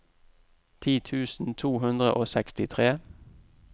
ti tusen to hundre og sekstitre